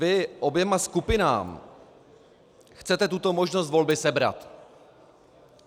Vy oběma skupinám chcete tuto možnost volby sebrat.